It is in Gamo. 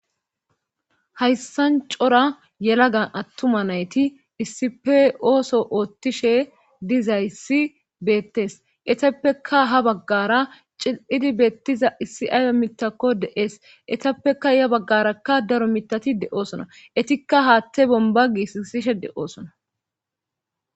Hayssan cora yelagga attuma nayti issippe ooso oottiishshe dizayissi beettees etappeka ha baggara cil'idi beettiza issi ayi miitakko de'ees etappeka ya baggarakka daro mitati de'oosona etikka haatte bomba getishshe de'oosona